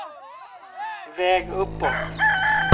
väg uppåt